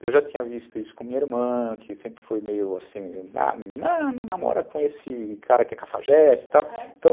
eu já tinha visto isso com minha irmã, que sempre foi meio assim, não namora com esse cara que é cafajeste e tal, ah, é?